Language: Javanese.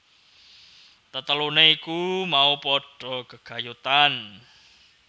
Tetelune iku mau padha gegayutan